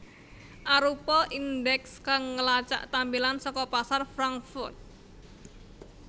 arupa indeks kang ngelacak tampilan saka pasar Frankfurt